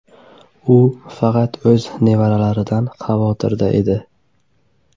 U faqat o‘z nevaralaridan xavotirda edi.